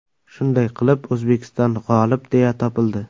Shunday qilib, O‘zbekiston g‘olib deya topildi.